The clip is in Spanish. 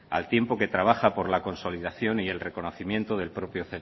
al tiempo que trabaja por la consolidación y el reconocimiento del propio